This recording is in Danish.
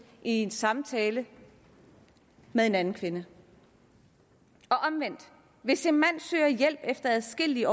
i en samtale med en anden kvinde og omvendt hvis en mand søger hjælp efter adskillige